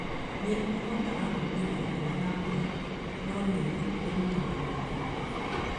Nĩ ũhotaga gwĩtiria riũa na mbura, no nĩ wĩrutanagĩria